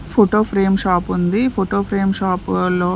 Photo frame shop ఉంది photo frame shop లో.